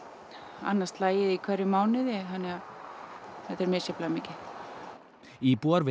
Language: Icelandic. annað slagið í hverjum mánuði þannig að þetta er misjafnlega mikið íbúar við